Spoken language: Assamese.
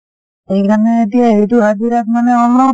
সেই কাৰণে এতিয়া এইটো হজিৰাত মানে অলপ